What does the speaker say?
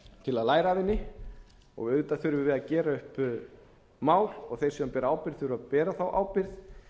til að læra af henni og auðvitað þurfum við að gera upp mál og þeir sem bera ábyrgð þurfa að bera þá ábyrgð